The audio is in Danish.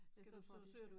I stedet for at vi skal